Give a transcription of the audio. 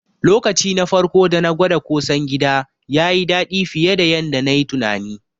Lokaci na farko dana gwada ƙosan gida, yayi daɗi fiye da yanda nayi tunani.